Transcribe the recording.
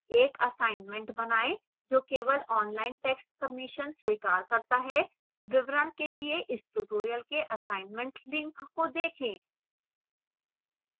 एक assignment बनाएँ जो केवल online टैक्स्ट submissions स्वीकार करता है विवरण के लिए इस ट्यूटोरियल के assignment लिंक को देखें